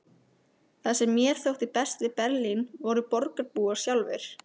Það sem mér þótti best við Berlín voru borgarbúar sjálfir.